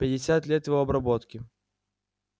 пятьдесят лет его обработки